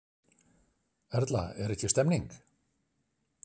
Erla, er ekki stemning?